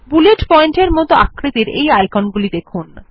bullet point মত আকৃতির এই আইকন গুলিকে দেখুন